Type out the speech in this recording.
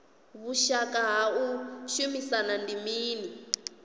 vhushaka ha u shumisana ndi mini